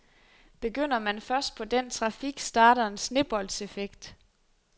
Begynder man først på den trafik, starter en sneboldseffekt.